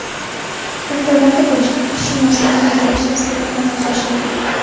Maktablarda bo‘lajak huquqshunoslarni tarbiyalash dasturlari amalga oshiriladi.